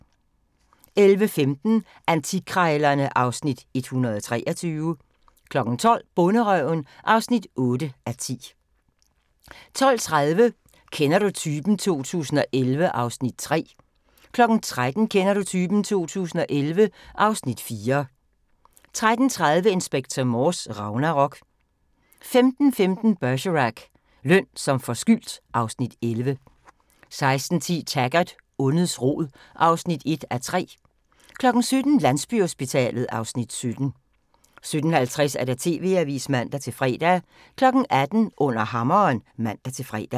11:15: Antikkrejlerne (Afs. 123) 12:00: Bonderøven (8:10) 12:30: Kender du typen? 2011 (Afs. 3) 13:00: Kender du typen? 2011 (Afs. 4) 13:30: Inspector Morse: Ragnarok 15:15: Bergerac: Løn som forskyldt (Afs. 11) 16:10: Taggart: Ondets rod (1:3) 17:00: Landsbyhospitalet (Afs. 17) 17:50: TV-avisen (man-fre) 18:00: Under Hammeren (man-fre)